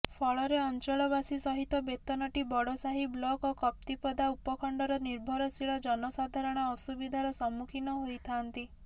ଫଳରେ ଅଞ୍ଚଳବାସୀ ସହିତ ବେତନଟୀ ବଡ଼ସାହି ବ୍ଲକ ଓ କପ୍ତିପଦା ଉପଖଣ୍ଡର ନିର୍ଭରଶୀଳ ଜନସାଧାରଣ ଅସୁବିଧାର ସମ୍ମୁଖୀନ ହୋଇଥାନ୍ତି